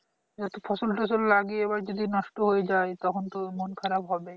এবার তো ফসলটসল লাগিয়ে এবারে যদি নষ্ট হয়ে যায় তখন তো মন খারাপ হবে